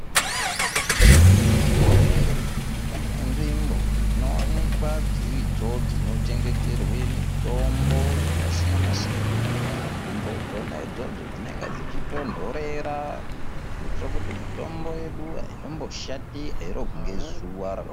Muzvigwehleri mune nzvimbo zvinoonekwa dziridzo dzinochengeterwe mitombo yakasiyana siyana ,nzvimbo adzino idzodzo dzinonga dzichitondorera dzechiite kuti mitombo yedu aitomboshati airohwi nezuva rakawanda.